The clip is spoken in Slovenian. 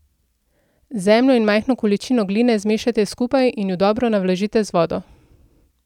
Zemljo in majhno količino gline zmešajte skupaj in ju dobro navlažite s vodo.